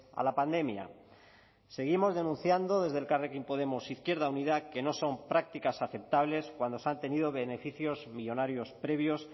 a la pandemia seguimos denunciando desde elkarrekin podemos izquierda unida que no son prácticas aceptables cuando se han tenido beneficios millónarios previos